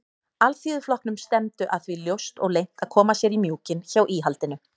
Alþýðuflokknum stefndu að því ljóst og leynt að koma sér í mjúkinn hjá íhaldinu.